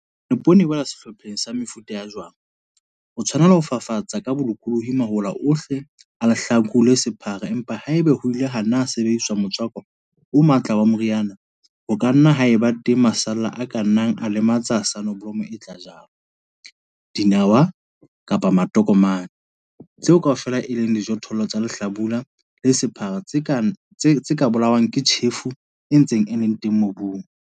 Hobane poone e wela sehlopheng sa mefuta ya jwang, o tshwanela ho fafatsa ka bolokolohi mahola ohle a lehlaku le sephara empa haeba ho ile ha sebediswa motswako o matla wa moriana ho ka nna ha eba teng masalla a ka nnang a lematsa soneblomo e tla jalwa, dinawa kapa matokomane - tseo kaofela e leng dijothollo tsa lehlaku le sephara tse ka bolawang ke tjhefo e ntseng e le teng mobung.